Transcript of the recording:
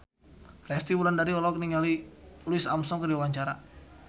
Resty Wulandari olohok ningali Louis Armstrong keur diwawancara